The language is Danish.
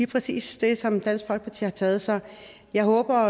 præcis det som dansk folkeparti har taget så jeg håber